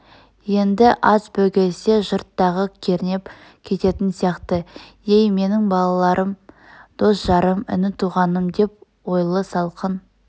енд аз бөгелсе жұрт тағы кернеп кететін сияқты ей менің балаларым дос-жарым іні-туғаным деп ойлы салқын